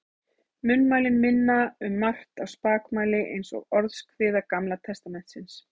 Munnmælin minna um margt á spakmæli eins og Orðskviði Gamla testamentisins.